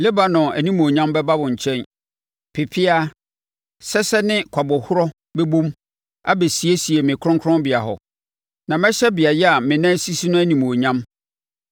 “Lebanon animuonyam bɛba wo nkyɛn, pepeaa, sɛsɛ ne kwabɔhɔrɔ bɛbɔ mu, abɛsiesie me kronkronbea hɔ; na mɛhyɛ beaeɛ a menan sisi no animuonyam.